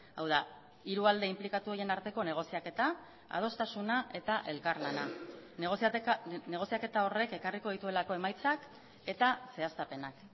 hau da hiru alde inplikatu horien arteko negoziaketa adostasuna eta elkarlana negoziaketa horrek ekarriko dituelako emaitzak eta zehaztapenak